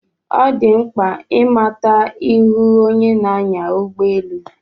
Ọ dị mkpa ị mata ihu onye na-anya ụgbọ elu.